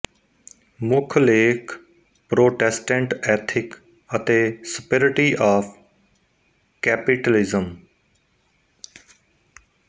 ਮੁੱਖ ਲੇਖ Protestant ethic ਅਤੇ ਸਪਰਿਟੀ ਆਫ਼ ਕੈਪੀਟਲਿਜ਼ਮ